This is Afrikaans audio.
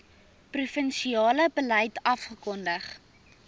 provinsiale beleid afgekondig